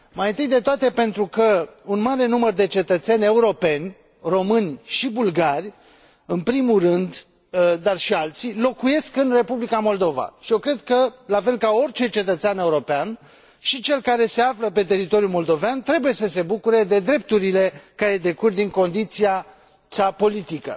Mai întâi de toate pentru că un mare număr de cetățeni europeni, români și bulgari, în primul rând, dar și alții, locuiesc în Republica Moldova și eu cred că, la fel ca orice cetățean european, și cel care se află pe teritoriul moldovean trebuie să se bucure de drepturile care decurg din condiția sa politică.